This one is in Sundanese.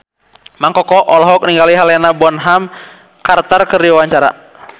Mang Koko olohok ningali Helena Bonham Carter keur diwawancara